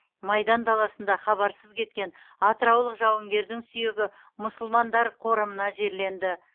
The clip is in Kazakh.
майдан даласында хабарсыз кеткен атыраулық жауынгердің сүйегі мұсылмандар қорымына жерленді